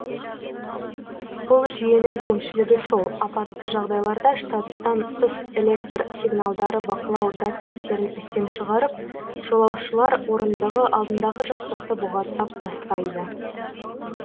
бұл жүйенің кемшілігі сол апатты жағдайларда штаттан тыс электр сигналдары бақылау датчиктерін істен шығарып жолаушылар орындығы алдындағы жастықты бұғаттап тастайды